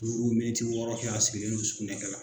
Mintimiyɔrɔ fɛ a sigilen don sugunɛkɛ la